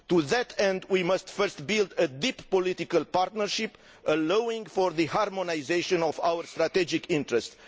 To that end, we must first build a deep political partnership allowing for the harmonisation of our strategic interest.